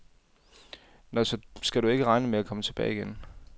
Nå, så skal du ikke regne med at komme tilbage igen.